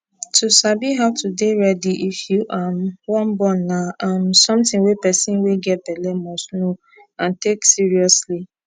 to sabi how to dey ready if you um wan born na um something wey person wey get belle must know n take seriously